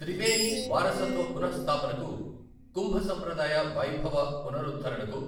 త్రిబేని వారసత్వ పునఃస్థాపనకు, కుంభ సంప్రదాయ వైభవ పునరుద్ధరణకు